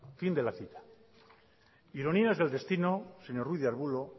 fin de la cita ironías del destino señor ruiz de arbulo